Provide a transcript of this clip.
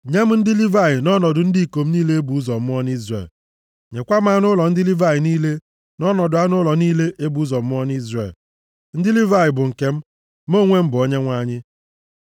“Nye m ndị Livayị nʼọnọdụ ndị ikom niile e bụ ụzọ mụọ nʼIzrel. Nyekwa m anụ ụlọ ndị Livayị niile nʼọnọdụ anụ ụlọ niile e bụ ụzọ mụọ nʼIzrel. Ndị Livayị bụ nke m. Mụ onwe m bụ Onyenwe anyị.